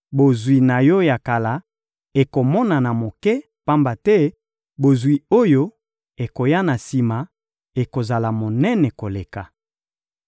Bozwi na yo ya kala ekomonana moke, pamba te bozwi oyo ekoya na sima ekozala monene koleka.